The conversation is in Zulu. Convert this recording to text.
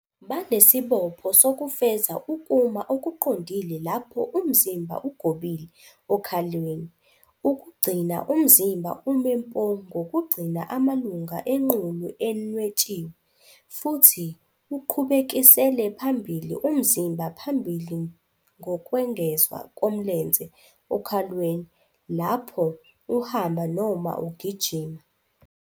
Banesibopho sokufeza ukuma okuqondile lapho umzimba ugobile okhalweni, ukugcina umzimba ume mpo ngokugcina amalunga enqulu enwetshiwe, futhi uqhubekisele phambili umzimba phambili ngokwengezwa komlenze, okhalweni, lapho uhamba noma ugijima.